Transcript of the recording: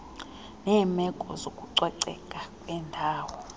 neemeko zokucoceka kwendawo